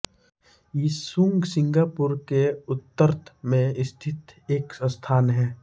Yishun Singapore के उतत्र में स्थित एक स्थान है